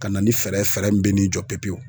Ka na ni fɛɛrɛ ye fɛɛrɛ min bɛ n'i jɔ pepewu.